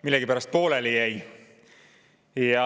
millegipärast pooleli jäi.